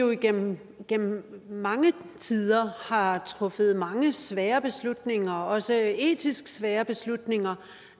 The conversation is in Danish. vi igennem igennem tiden har truffet mange svære beslutninger også etisk svære beslutninger